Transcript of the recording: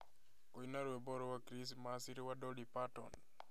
Kũina rwĩmbo rwa Krismasi rwa Dolly Parton